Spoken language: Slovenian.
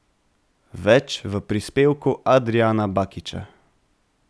Več v prispevku Adrijana Bakiča.